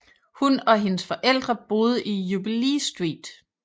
Hun og hendes forældre boede i Jubilee Street